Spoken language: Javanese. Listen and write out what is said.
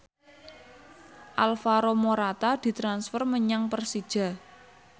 Alvaro Morata ditransfer menyang Persija